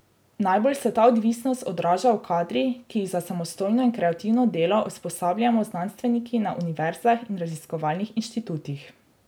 Najbolj se ta odvisnost odraža v kadrih, ki jih za samostojno in kreativno delo usposabljamo znanstveniki na univerzah in raziskovalnih inštitutih.